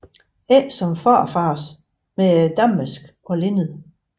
Ikke som farfars med damask og linned